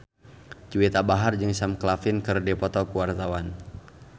Juwita Bahar jeung Sam Claflin keur dipoto ku wartawan